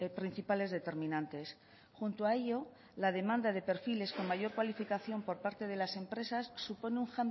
principales determinantes junto a ello la demanda de perfiles con mayor cualificación por parte de las empresas supone un